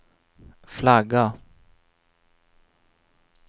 flagga